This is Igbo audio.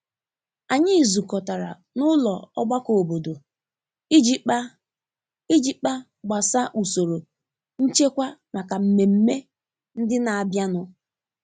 Anyị zukọtara na ụlọ ọgbakọ obodo iji kpa iji kpa gbasa usoro nchekwa maka mmemme ndị n'abịa nu.